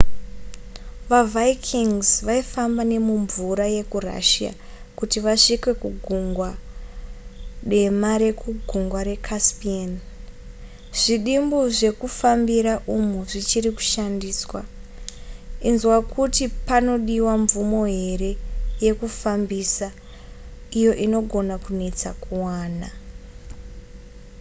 vavikings vaifamba nemumvura yekurussia kuti vasvike kugungwa dema nekugungwa recaspian zvidimbu zvemekufambira umu zvichiri kushandiswa inzwa kuti panodiwa mvumo here yekufambisa iyo inogona kunetsa kuwana